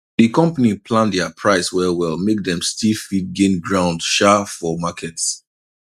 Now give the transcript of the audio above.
the company plan their price well well make dem still fit gain ground um for market